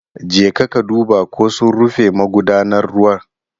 Jeka ka duba ko sun rufe magudanar ruwa.